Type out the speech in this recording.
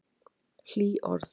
Hlý orð.